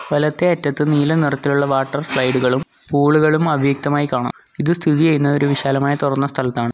വലത്തേ അറ്റത്ത് നീല നിറത്തിലുള്ള വാട്ടർ സ്ലൈഡുകളും പൂളുകളും അവ്യക്തമായി കാണാം ഇത് സ്ഥിതി ചെയ്യുന്നത് ഒരു വിശാലമായി തുറന്ന സ്ഥലത്താണ്.